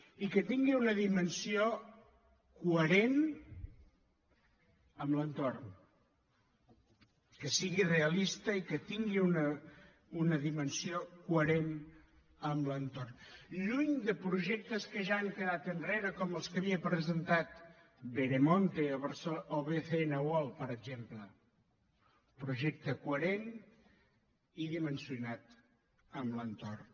i que tingui una dimensió coherent amb l’entorn que sigui realista i que tingui una dimensió coherent amb l’entorn lluny de projectes que ja han quedat enrere com els que havia presentat veremonte o bcn world per exemple un projecte coherent i dimensionat amb l’entorn